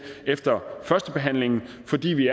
efter førstebehandlingen fordi vi